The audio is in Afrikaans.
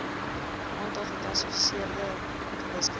aantal gekwalifiseerde wiskunde